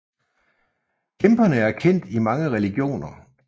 Kæmperne er kendt i mange religioner